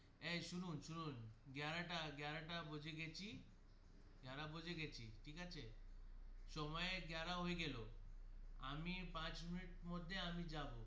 এই শুনুন শুনুন গেরাটা গেরাটা বোজে গেছি গেরা বোজে ঠিক আছে সময়ে গেরা হয়ে গেল আমি পাঁচ মিনিট মধ্যে আমি যাবো.